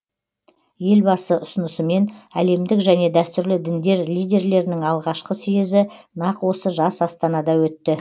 елбасы ұсынысымен әлемдік және дәстүрлі діндер лидерлерінің алғашқы съезі нақ осы жас астанада өтті